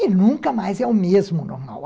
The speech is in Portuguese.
E nunca mais é o mesmo normal.